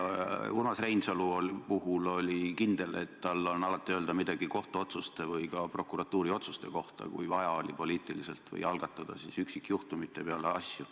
Urmas Reinsalu puhul oli kindel, et tal on alati öelda midagi kohtuotsuste või ka prokuratuuri otsuste kohta, kui oli vaja poliitiliselt algatada üksikjuhtumite peale asju.